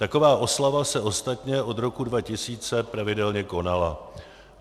Taková oslava se ostatně od roku 2000 pravidelně konala.